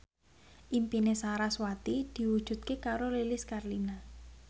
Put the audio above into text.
impine sarasvati diwujudke karo Lilis Karlina